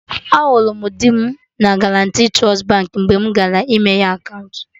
Ahụrụ m di m na Guarantee Trust Baankị mgbe mụ gara ịmeghe akaụntụ